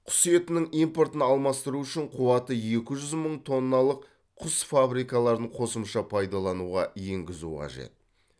құс етінің импортын алмастыру үшін қуаты екі жүз мың тонналық құс фабрикаларын қосымша пайдалануға енгізу қажет